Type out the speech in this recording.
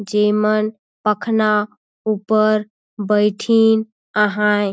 जेमन पखना ऊपर बइठीन अहाए।